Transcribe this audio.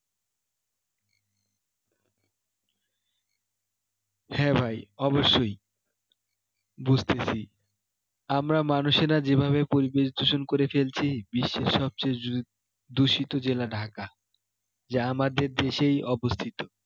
হ্যাঁ ভাই অবশ্যই বুঝতেছি আমরা মানুষেরা যেভাবে পরিবেশ দূষণ করে ফেলছি বিশ্বের সব চেয়ে দূষিত জেলা ঢাকা যা আমাদের দেশেই অবস্থিত